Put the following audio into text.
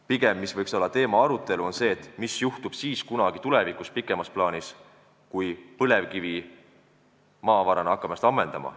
Pigem võiks olla arutelu teema see, mis juhtub kunagi tulevikus pikemas plaanis, kui põlevkivi maavarana hakkab ennast ammendama.